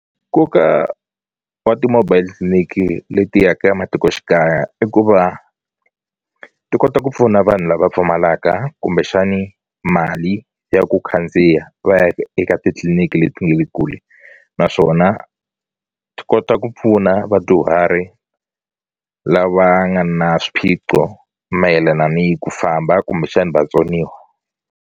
Nkoka wa ti-mobile clinic leti ya ka ematikoxikaya i ku va ti kota ku pfuna vanhu lava pfumalaka kumbexani mali ya ku khandziya va ya eka ka titliliniki leti nge le kule naswona ti kota ku pfuna vadyuhari lava nga na swiphiqo mayelana ni ku famba kumbexani vatsoniwa.